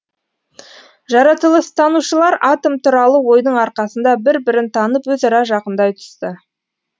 жаратылыстанушылар атом туралы ойдың арқасында бір бірін танып өзара жақындай түсті